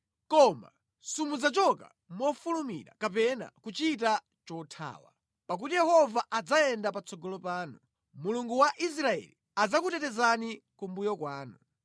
Koma simudzachoka mofulumira kapena kuchita chothawa; pakuti Yehova adzayenda patsogolo panu, Mulungu wa Israeli adzakutetezani kumbuyo kwanu.